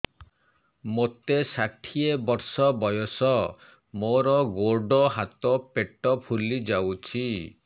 ମୋତେ ଷାଠିଏ ବର୍ଷ ବୟସ ମୋର ଗୋଡୋ ହାତ ପେଟ ଫୁଲି ଯାଉଛି